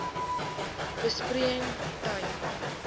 besproeiing tipe